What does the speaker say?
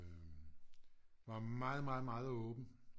Var meget meget meget åben